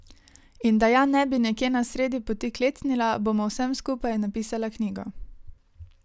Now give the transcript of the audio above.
In da ja ne bi nekje na sredi poti klecnila, bom o vsem skupaj napisala knjigo.